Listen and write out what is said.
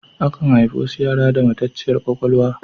Akan haifi wasu yara da matacciyar kwakwalwa.